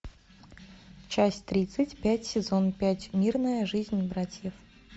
часть тридцать пять сезон пять мирная жизнь братьев